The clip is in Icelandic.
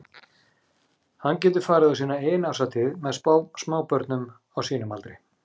Hann getur farið á sína eigin árshátíð með smábörnum á sínum aldri.